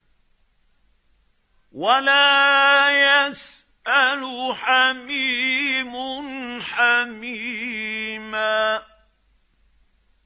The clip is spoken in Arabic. وَلَا يَسْأَلُ حَمِيمٌ حَمِيمًا